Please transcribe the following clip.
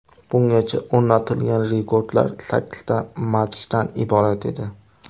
Bungacha o‘rnatilgan rekordlar sakkizta matchdan iborat edi.